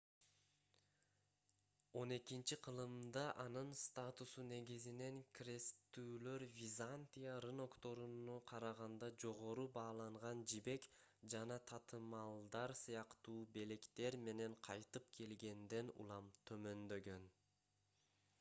xii—кылымда анын статусу негизинен кресттүүлөр византия рынокторуна караганда жогору бааланган жибек жана татымалдар сыяктуу белектер менен кайтып келгенден улам төмөндөгөн